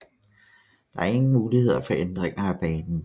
Der er ingen muligheder for ændringer af banen